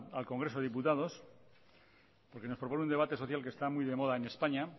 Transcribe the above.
al congreso de diputados porque nos propone un debate social que está muy de moda en españa